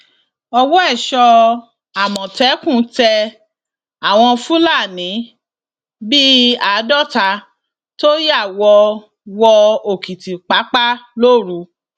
ọwọ èso àmọtẹkùn tẹ àwọn fúlàní bíi àádọta tó ya wọ wọ òkìtìpápá lóru